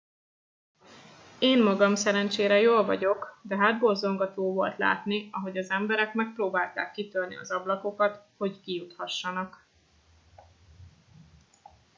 én magam szerencsére jól vagyok de hátborzongató volt látni ahogy az emberek megpróbálták kitörni az ablakokat hogy kijuthassanak